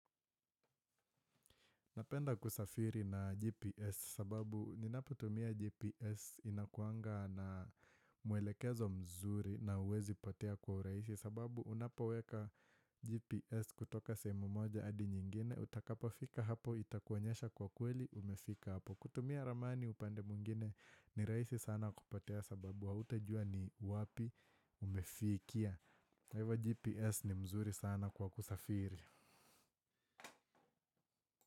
Napenda kusafiri na GPS sababu ninapotumia GPS inakuanga na mwelekezo mzuri na huwezi potea kwa urahisi sababu unapoweka GPS kutoka sehemu moja hadi nyingine utakapo fika hapo itakuonyesha kwa kweli umefika hapo. Kutumia ramani upande mwingine ni rahisi sana kupotea sababu hautajua ni wapi umefikia. Kwa hivo GPS ni mzuri sana kwa kusafiri.